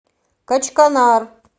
качканар